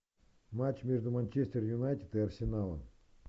матч между манчестер юнайтед и арсеналом